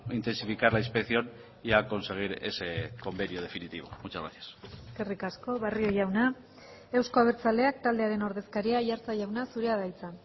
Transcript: intensificar la inspección y a conseguir ese convenio definitivo muchas gracias eskerrik asko barrio jauna euzko abertzaleak taldearen ordezkaria aiartza jauna zurea da hitza